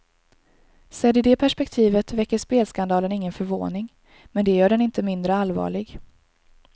Sedd i det perspektivet väcker spelskandalen ingen förvåning, men det gör den inte mindre allvarlig.